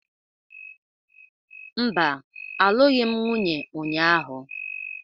Mba, alụghị m nwunye ụnyahụ.